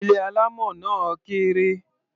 Ilé alámọ̀ náà kéré.